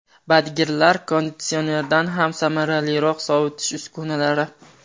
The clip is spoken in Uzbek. Badgirlar konditsionerdan ham samaraliroq sovitish uskunalari .